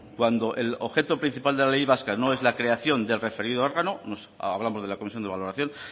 cuando el objeto principal de la ley vasca no es la creación del referido órgano hablamos de la comisión de valoración